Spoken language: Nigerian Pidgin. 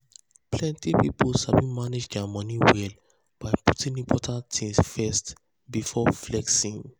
plenty people sabi manage their money well by putting important things first before flexing.